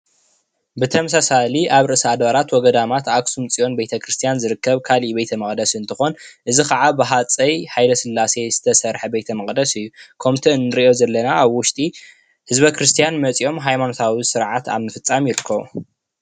ብተመሳሳሊ ኣብ ርእሰ ኣድባራት ወ ገዳማት ኣክሱም ፅዮን ቤተ ክርስትያን ዝርከብ ካሊእ ቤተ መቅደስ እንትኾን እዚ ካዓ ብሃፀይ ሃይለስላሴ ዝተሰርሐ ቤተ መቅደስ እዩ። ከምቲ ንሪኦ ዘለና ኣብ ውሽጢ ህዝበ ክርስትያን መፂኦም ሃይማኖታዊ ስርዓት ኣብ ምፍፃም ይርከቡ።